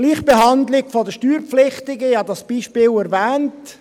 Die Gleichbehandlung der Steuerpflichtigen … Ich habe dieses Beispiel erwähnt: